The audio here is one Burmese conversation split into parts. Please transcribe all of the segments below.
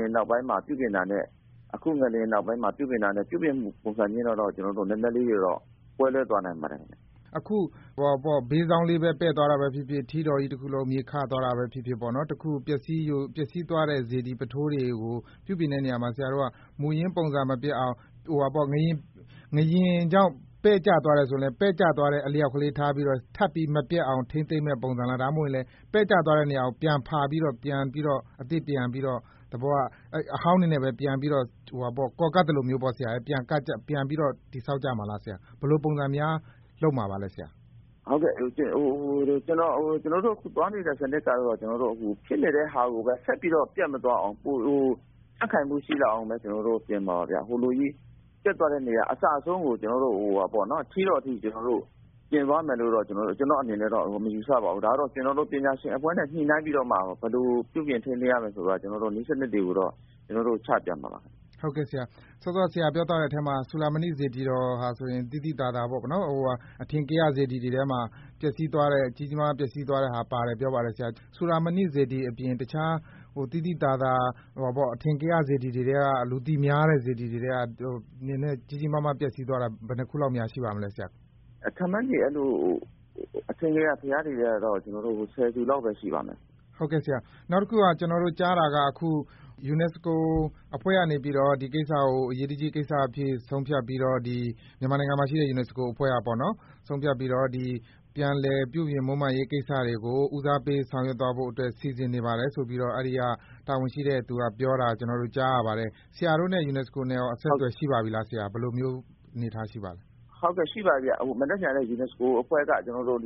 င်နောက်ပိုင်းမှာ ပြုပြင်တာနဲ့ အခု ငလျင်နောက်ပိုင်းမှာ ပြုပြင်တာနဲ့ ပြုပြင်မှု ပုံစံလေးတွေကတော့ နည်းနည်းလေး ကွဲလွဲသွားနိုင်ပါတယ် ခင်ဗျ။ အခု ဘေးစောင်းလေးပဲ ပဲ့သွားတာပဲဖြစ်ဖြစ်၊ ထီးတော်ကြီး တခုလုံး မြေခသွားတာပဲဖြစ်ဖြစ်၊ ပျက်စီးသွားတဲ့ စေတီပုထိုးတွေ ကို ပြုပြင်တဲ့နေရာမှာ ဆရာတို့က မူရင်း ပုံစံမပျက်အောင်၊ ငလျင်ကြောင့် ပဲ့ကျသွား တယ်ဆိုရင်လည်း ပဲ့ကျသွားတဲ့အလျှောက်ကလေးပဲ ထပ်ပြီး မပျက်အောင် ထိန်းသိမ်းမယ့် ပုံစံလား၊ ဘယ်လိုပုံစံများ လုပ်မှာပါလဲ ဆရာ။ ကျနော်တို့ အခုသွားနေတဲ့ စနစ်ကတော့ ဖြစ်နေတဲ့ဟာကိုပဲ ဆက်ပြီးတော့ ပျက်မသွားအောင်၊ ပိုပြီး ကြံ့ခိုင်မှုရှိလာအောင်ပဲ ကျနော်တို့ ပြင်မှာ ပါဗျ။ ဟိုလိုကြီး ပျက်သွားတဲ့နေရာ အစအဆုံးကို ကျနော်တို့ ထီးတော်အထိ ကျနော်တို့ ပြင်သွားမယ်လို့တော့ ကျနော့်အနေနဲ့တော့ မယူဆပါဘူး။ ဒါကတော့ ကျနော်တို့ ပညာရှင်အဖွဲ့နဲ့ ညှိနှိုင်းပြီးတော့မှ ဘယ်လို ပြုပြင် ထိန်းသိမ်းရမယ်ဆိုတာ နည်းစနစ်တွေကိုတော့ ကျနော်တို့ ချပြမှာပါ။ ဟုတ်ကဲ့ ဆရာ၊ စောစောက ဆရာပြောသွားခဲ့တဲ့အထဲမှာ စူဠာမဏိ စေတီတော်ဟာဆိုရင် သိသိသာသာပေါ့နော်၊ အထင်ကရ စေတီတွေထဲမှာ ကြီးကြီးမားမား ပျက်ဆီးသွားတဲ့ဟာ ပါတယ် ပြောပါ တယ်။ စူဠာမဏိစေတီအပြင် တခြား အထင်ကရ စေတီတွေထဲက၊ လူသိများ တဲ့ စေတီတွေထဲက ကြီးကြီးမားမား ပျက်စီးသွားတာ ဘယ်နှစ်ခုလောက်များ ရှိပါမလဲ။ အထင်ကရ ဘုရားတွေထဲကတော့ ခန့်မှန်းခြေ ၁၀ ဆူလောက်ပဲ ရှိပါမယ်။ နောက်တခုက ကျနော်တို့ ကြားတာက အခု မြန်မာနိုင်ငံမှာရှိတဲ့ UNESCO အဖွဲ့ကနေပြီးတော့ ဒီကိစ္စကို အရေးတကြီးကိစ္စအဖြစ် ဆုံးဖြတ် ပြီးတော့ ပြန်လည် ပြုပြင် မွမ်းမံရေးကိစ္စတွေကို ဦးစားပေး ဆောင်ရွက်သွား ဖို့အတွက် စီစဉ်နေပါတယ်ဆိုပြီးတော့ အဲဒီက တာဝန်ရှိတဲ့သူက ပြောတာ ကျနော်တို့ ကြားရပါတယ်။ ဆရာတို့နဲ့ UNESCO နဲ့ရော အဆက်အသွယ် ရှိပါပြီလား ဆရာ။ ဘယ်လို အနေအထား ရှိပါသလဲ။ ဟုတ်ကဲ့၊ ရှိပါပြီဗျ။ မနက်ဖြန်လဲ UNESCO အဖွဲ့က ကျနော်တို့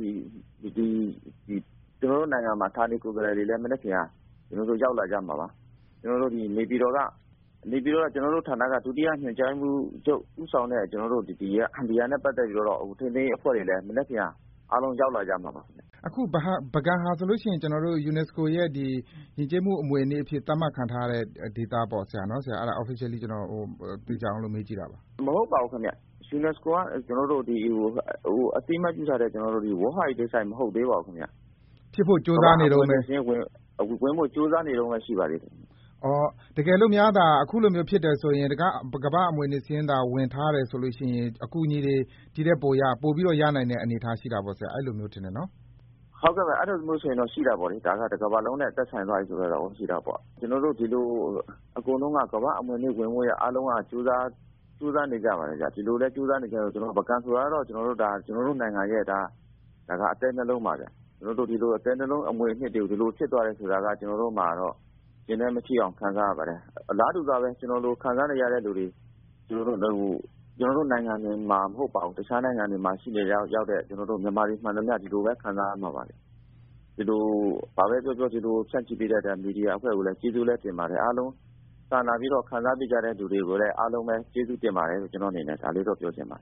နိုင်ငံက ဌာနေကိုယ်စားလှယ်တွေ လည်း ရောက်လာကြမှာ ပါ။ နေပြည်တော်က ကျနော်တို့ဌာနက ဒုတိယညွန်ကြားရေးမှူးချုပ် ဦးဆောင်တဲ့ ဒီဟာနဲ့ပတ်သက်ပြီးတော့ ထိန်းသိမ်းရေးအဖွဲ့တွေလည်း မနက်ဖြန် အားလုံး ရောက်လာကြမှာပါ။ အခု ပုဂံဟာဆိုလို့ရှိရင် UNESCO ရဲ့ ကမ္ဘာ့ယဉ်ကျေးမှုအမွေအနှစ်အဖြစ် သတ်မှတ်ခံထားရတဲ့ ဒေသဖြစ်ပါပြီလားဆရာ။ မဟုတ်ပါဘူးခင်ဗျ။ UNESCO က အသိအမှတ်ပြုထားတဲ့ ကျနော်တို့ World Heritage Site မဟုတ်သေးပါဘူး ခင်ဗျ။ ကမ္ဘာ့အမွေအနှစ်စာရင်း ဝင်ဖို့ ကြိုးစားနေတုန်းပဲ ရှိပါသေးတယ်။ တကယ်လို့များသာ အခုလိုမျိုး ဖြစ်တယ်ဆိုရင် ကမ္ဘာ့အမွေအနှစ်စာရင်းသာ ဝင်ထားတယ်ဆိုလို့ရှိရင် အကူအညီတွေ ဒီထက်ပိုပြီးတော့ ရနိုင်တဲ့ အနေအထား ရှိတာပေါ့ဆရာ၊ အဲဒီလိုမျိုး ထင်တယ်နော်။ ဟုတ်ကဲ့ပါ။ အဲဒီလိုမျိုးဆိုရင်တော့ ရှိတာပေါ့လေ။ ဒါကတော့ တကမ္ဘာလုံးနဲ့ သက်ဆိုင်သွားပြီဆိုတဲ့သဘော ရှိတာပေါ့။ ကျနော်တို့ ဒီလို အကုန် လုံးက ကမ္ဘာ့အမွေအနှစ်ဝင်ဖို့ အားလုံးက ကြိုးစားနေကြပါတယ်ဗျ။ ပုဂံဆိုတာ ကတော့ ကျနော်တို့နိုင်ငံရဲ့ အသည်းနှလုံးပါဗျ။ ကျနော်တို့ ဒီလို အသည်းနှလုံး အမွေအနှစ်တွေကို ဒီလို ဖြစ်သွားတယ်ဆိုတာက ကျနော်တို့မှာတော့ ရင်ထဲ မချိအောင် ခံစားရပါတယ်။ အလားတူစွာပဲ ကျနော့လို ခံစားနေရတဲ့လူတွေ ကျနော် တို့နိုင်ငံတင်မှာ မဟုတ်ပါဘူး၊ တခြားနိုင်ငံတွေမှာ ရှိနေကြတဲ့ ကျနော် တို့ မြန်မာတွေမှန်သမျှ ဒီလိုပဲ ခံစားရမှာပါဗျ။ ဘာဘဲပြောပြော ဒီလို ဖြန့်ချိပေး တဲ့အတွက် မီဒီယာအဖွဲ့ကိုလည်း ကျေးဇူးလဲ တင်ပါတယ်။ အားလုံး စာနာပြီးတော့ ခံစားပေးကြတဲ့သူတွေကိုလည်း အားလုံးပဲ ကျေးဇူးတင်ပါတယ်လို့ ကျနော့်အနေ နဲ့ ပြောချင်ပါတ